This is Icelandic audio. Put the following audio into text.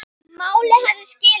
Málið hafði skilað sér.